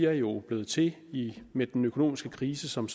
er jo blevet til med den økonomiske krise som